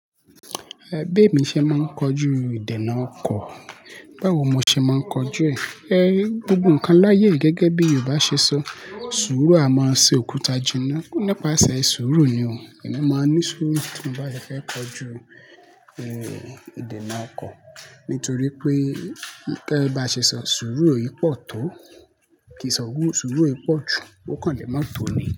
Ẹ bemi ṣé máa ń kojú ìdènà ọkọ̀. Báwo mo ṣe máa ń kojú ẹ̀? E, gbogbo nǹkan láyé gẹ́gẹ́ bí Yorùbá ṣe sọ, sùúrù á máa ṣe òkúta jìnnà. Nípasẹ̀ sùúrù ni o, èmi máa ń ní sùúrù tí mo bá fẹ́ kojú, e, ìdènà ọkọ̀. Nítorí pé kí ẹ bá ṣe sọ, sùúrù yìí pọ̀ tó kí sùúrù yìí pọ̀ jù, ó kàn lè má tò ni.